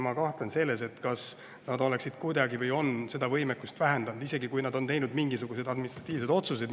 Ma kahtlen selles, et nad on seda võimekust vähendanud, isegi kui nad on teinud mingisuguseid administratiivseid otsuseid.